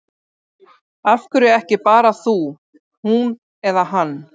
Af hverju ekki bara þú, hún eða hann?